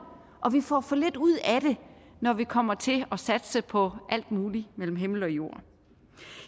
og vi får for lidt ud af det når vi kommer til at satse på alt muligt mellem himmel og jord